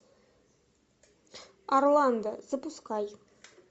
орландо запускай